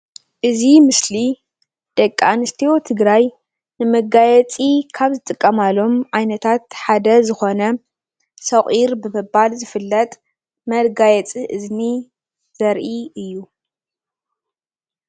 እዚ ምስሊ ደቂ ኣነስትዮ ትግራይ ንመጋየፂ ካብ ዝጥቀማሎም ዓይነታት ሓደ ዝኮነ ሶቂር ብምባል ዝፍለጥ መጋየፂ እዝኒ ዘርኢ እዩ፡፡